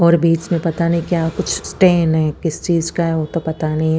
और बीच में पता नहीं क्या कुछ स्टेन है किस चीज का है वो तो पता नहीं है।